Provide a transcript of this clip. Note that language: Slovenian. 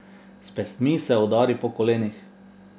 S pestmi se udari po kolenih.